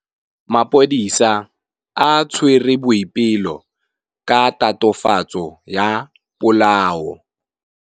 Maphodisa a tshwere Boipelo ka tatofatsô ya polaô.